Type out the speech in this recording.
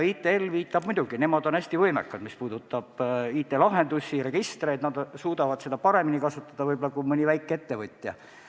ITL-i seisukoht on muidugi arusaadav, nemad on hästi võimekad, mis puudutab IT-lahendusi ja registreid, nad suudavad neid kasutada võib-olla paremini kui mõni väikeettevõtja.